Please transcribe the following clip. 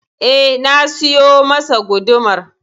Eh na siyo masa gudumar.